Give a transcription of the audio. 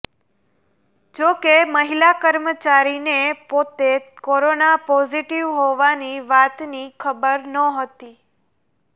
જો કે મહિલા કર્મચારીને પોતે કોરોના પોઝિટિવ હોવાની વાતની ખબર નહોતી